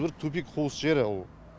бір тупик қуыс жері ол